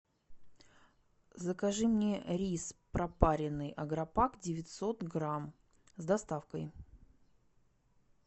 закажи мне рис пропаренный агропак девятьсот грамм с доставкой